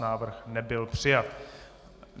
Návrh nebyl přijat.